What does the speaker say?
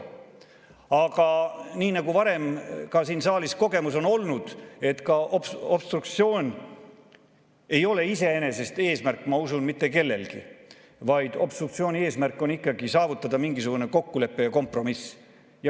Aga nii nagu varem ka siin saalis kogemus on olnud, et ka obstruktsioon ei ole iseenesest eesmärk, ma usun, mitte kellelgi, vaid obstruktsiooni eesmärk on ikkagi saavutada mingisugune kokkulepe ja kompromiss.